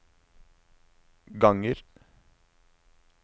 ganger